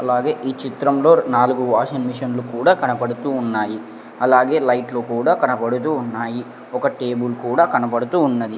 అలాగే ఈ చిత్రంలో ర్ నాలుగు వాషింగ్ మిషన్లు కూడా కనపడుతూ ఉన్నాయి అలాగే లైట్లు కూడా కనబడుతూ ఉన్నాయి ఒక టేబుల్ కూడా కనబడుతూ ఉన్నది.